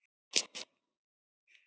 Ég svaf hjá Jónu.